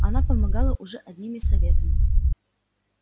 она помогала уже одними советами